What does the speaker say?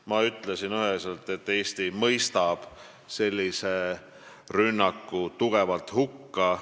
Ma ütlesin üheselt, et Eesti mõistab sellise rünnaku tugevalt hukka.